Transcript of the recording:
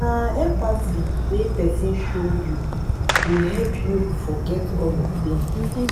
na empathy wey pesin show you go help you forget all your pain.